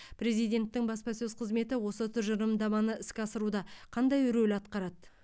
президенттің баспасөз қызметі осы тұжырымдаманы іске асыруда қандай рөл атқарады